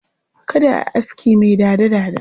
Kada a yi aski mai dada-dada.